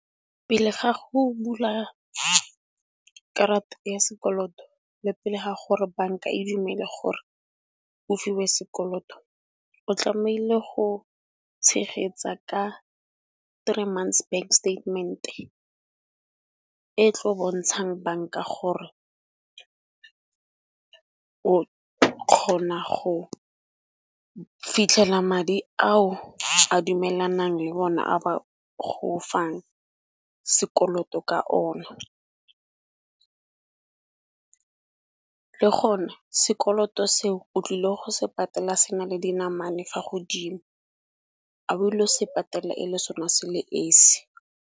Pele ga go bula karata ya sekoloto le pele ga gore banka e dumele gore o fiwe sekoloto, o tlameile go tshegetsa ka three months bank statement-e e tlo bontshang banka gore o kgona go fitlhela madi ao a dumelanang le bona a ba go fang sekoloto ka ona. Le gona sekoloto seo o tlile go se patela se na le dinamane fa godimo a o ilo se patela e le sona se le esi.